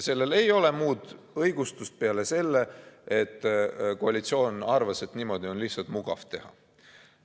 Sellele ei ole muud õigustust peale selle, et koalitsioon arvas, et niimoodi on lihtsalt mugav teha.